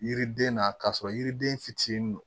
Yiriden na k'a sɔrɔ yiriden fitinin don